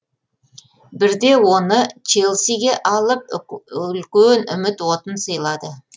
бірде оны челсиге алып үлкен үміт отын сыйлады